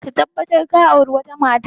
Ka tabbatar ka auri wata matar!